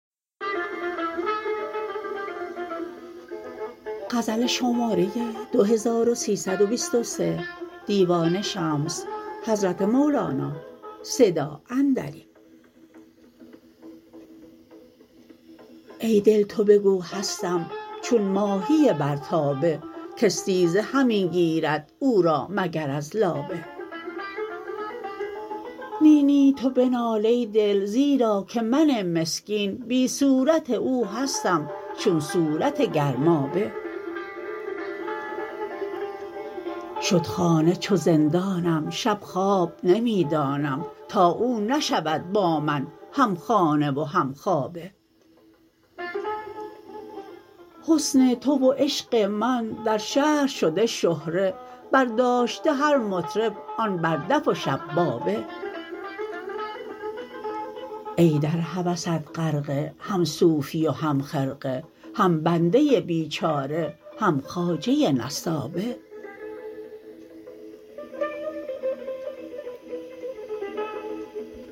ای دل تو بگو هستم چون ماهی بر تابه کاستیزه همی گیرد او را مگر از لابه نی نی تو بنال ای دل زیرا که من مسکین بی صورت او هستم چون صورت گرمابه شد خانه چو زندانم شب خواب نمی دانم تا او نشود با من همخانه و همخوابه حسن تو و عشق من در شهر شده شهره برداشته هر مطرب آن بر دف و شبابه ای در هوست غرقه هم صوفی و هم خرقه هم بنده بیچاره هم خواجه نسابه